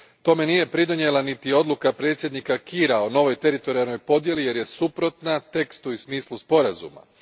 Tome nije pridonijela niti odluka predsjednika Kiira o novoj teritorijalnoj podjeli jer je suprotna tekstu i smislu sporazuma.